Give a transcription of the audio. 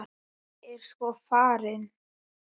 Ég er sko farin.